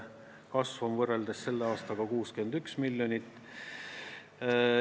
Kasv on võrreldes selle aastaga 61 miljonit.